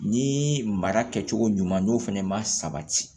Ni mara kɛcogo ɲuman n'o fɛnɛ ma sabati